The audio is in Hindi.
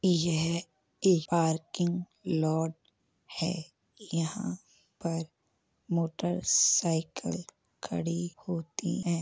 यह एक पार्किंग लौट है। यहाॅं पर मोटर साइकिल खड़ी होती है।